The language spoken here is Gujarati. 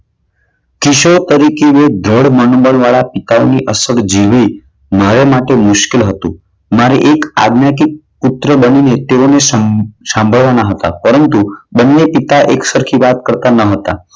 કિશોર તરીકે ના દ્રઢ મનોબળવાળા પિતાની અસર જેવી મારા માટે મુશ્કેલ હતું. મારે એક આગ લાગી પુત્ર બનીને તેઓને સંભાળવાના હતા. પરંતુ બંને પિતા એક સરખી વાત કરતા ન હતા.